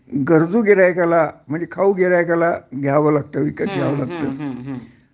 गरजू गिर्हाईकाला म्हणजे खाऊ गिर्हाईकाला घ्यावं लागतं विकत घ्यावं लागतं